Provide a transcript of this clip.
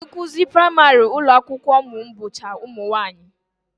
Ndị nkụzi praịmarị ụlọakwụkwọ ụmụ m bụcha ụmụnwaanyị